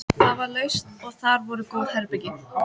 Það var laust og þar voru góð herbergi.